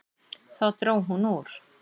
Þá dró hún úr.